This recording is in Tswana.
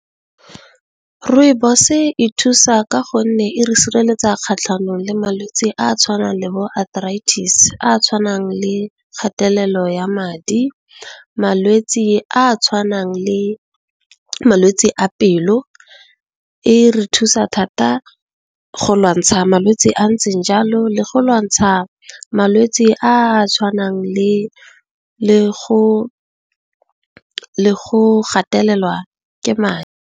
Rooibos e thusa ka gonne e re sireletsa kgatlhanong le malwetsi a a tshwanang le bo arthritis, a a tshwanang le kgatelelo ya madi, malwetsi a a tshwanang le malwetsi a pelo. E re thusa thata go lwantsha malwetsi a ntseng jalo le go lwantsha malwetsi a a tshwanang le go gatelelwa ke madi.